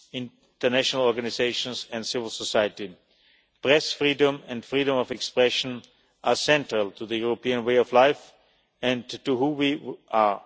international organisations and civil society. Press freedom and freedom of expression are central to the European way of life and to whom